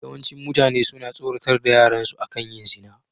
Yawancin mutane suna tsoratar da yaran su akan yin zina.